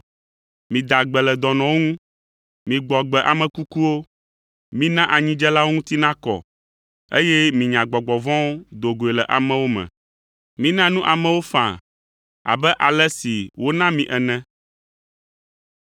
Mida gbe le dɔnɔwo ŋu, migbɔ agbe ame kukuwo, mina anyidzelawo ŋuti nakɔ, eye minya gbɔgbɔ vɔ̃wo do goe le amewo me. Mina nu amewo faa abe ale si wona mi ene!